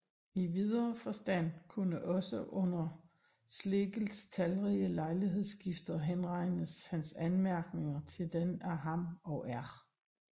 I videre forstand kunne også under Schlegels talrige lejlighedsskrifter henregnes hans anmærkninger til den af ham og R